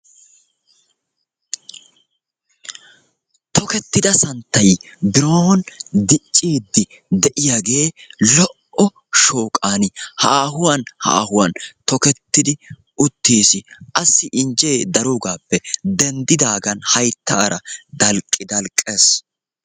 Tokettida santtayi biron dicciiddi de'iyagee lo'o shooqan haahuwan haahuwan tokettidi uttis. Assi injjee daroogaappe denddidaagan hayttaara dalqqi dalqqes.